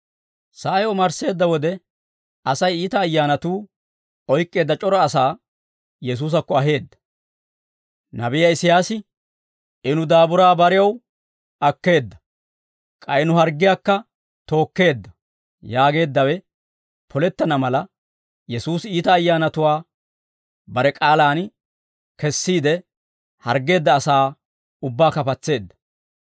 Sa'ay omarsseedda wode, Asay iita ayyaanatuu oyk'k'eedda c'ora asaa Yesuusakko aheedda; nabiyaa Isiyaasi, «I nu daaburaa barew akkeedda; k'ay nu harggiyaakka tookkeedda» yaageeddawe polettana mala, Yesuusi iita ayyaanatuwaa bare k'aalaan kessiide, harggeedda asaa ubbaakka patseedda.